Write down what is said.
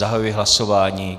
Zahajuji hlasování.